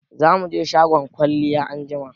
Za mu je shagon kwalliya anjima.